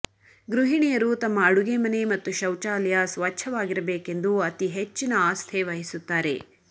ಗೃಹಿಣಿಯರು ತಮ್ಮ ಅಡುಗೆ ಮನೆ ಮತ್ತು ಶೌಚಾಲಯ ಸ್ವಚ್ಛವಾಗಿರಬೇಕೆಂದು ಅತಿ ಹೆಚ್ಚಿನ ಅಸ್ಥೆ ವಹಿಸುತ್ತಾರೆ